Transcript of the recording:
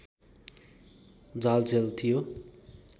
जालझेल थियो